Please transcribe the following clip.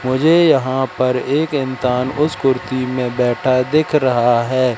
मुझे यहां पर एक इंसान उस कुर्ती में बैठा दिख रहा है।